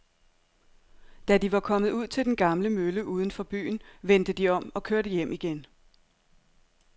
Da de var kommet ud til den gamle mølle uden for byen, vendte de om og kørte hjem igen.